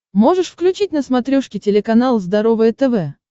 можешь включить на смотрешке телеканал здоровое тв